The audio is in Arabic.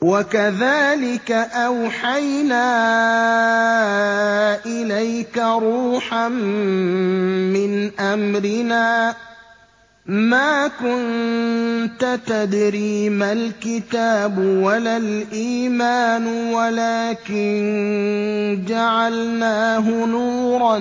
وَكَذَٰلِكَ أَوْحَيْنَا إِلَيْكَ رُوحًا مِّنْ أَمْرِنَا ۚ مَا كُنتَ تَدْرِي مَا الْكِتَابُ وَلَا الْإِيمَانُ وَلَٰكِن جَعَلْنَاهُ نُورًا